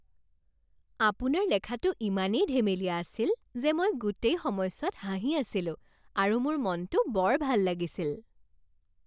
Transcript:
আপোনাৰ লেখাটো ইমানেই ধেমেলীয়া আছিল যে মই গোটেই সময়ছোৱাত হাঁহি আছিলোঁ আৰু মোৰ মনটো বৰ ভাল লাগিছিল